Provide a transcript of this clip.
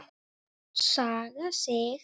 Saga Sig.